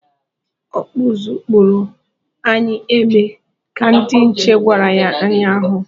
"Ọkpụ ụzụ kpụọro anyị egbe!" ka ndị nche gwara ya nnya ahụ.